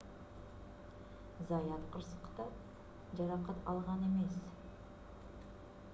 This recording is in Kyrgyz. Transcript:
заят кырсыкта жаракат алган эмес